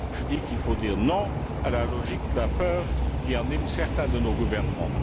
Je dis qu'il faut dire non à la logique de la peur qui anime certains de nos gouvernements.